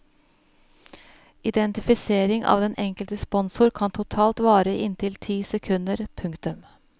Identifisering av den enkelte sponsor kan totalt vare i inntil ti sekunder. punktum